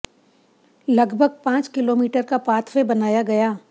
लगभग पांच किलोमीटर का पाथ वे बनाया गया